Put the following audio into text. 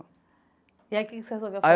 E aí o que você resolveu.